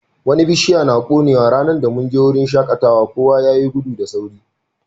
Wani bishia na konewa ranan da mun je wurin shakatawan, kowa ya yi gudu da sauri.